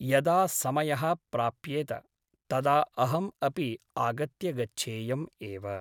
यदा समयः प्राप्येत तदा अहम् अपि आगत्य गच्छेयम् एव ।